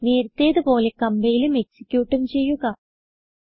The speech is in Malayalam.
നേരത്തെ പോലെ കംപൈലും എക്സിക്യൂട്ടും ചെയ്യുക